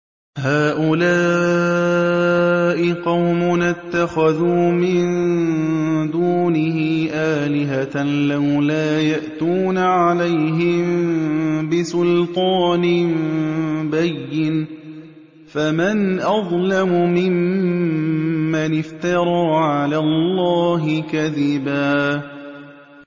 هَٰؤُلَاءِ قَوْمُنَا اتَّخَذُوا مِن دُونِهِ آلِهَةً ۖ لَّوْلَا يَأْتُونَ عَلَيْهِم بِسُلْطَانٍ بَيِّنٍ ۖ فَمَنْ أَظْلَمُ مِمَّنِ افْتَرَىٰ عَلَى اللَّهِ كَذِبًا